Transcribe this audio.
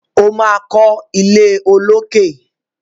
O ma kọ ilé olókè.